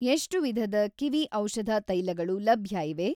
ಎಷ್ಟು ವಿಧದ ಕಿವಿ ಔಷಧ ತೈಲಗಳು ಲಭ್ಯ ಇವೆ?